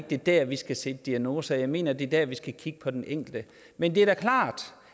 det er der vi skal stille diagnose og jeg mener at det er der vi skal kigge på den enkelte men det er da klart